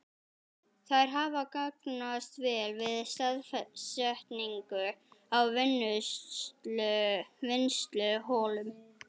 Þær hafa gagnast vel við staðsetningu á vinnsluholum.